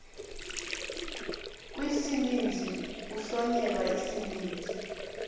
kwisininzi kuhlonyelwe isininzisi